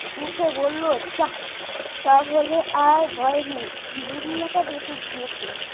উঠে বলল যা তাহলে আর ভয় নেই দুনিয়াটি বেঁচে গিয়েছে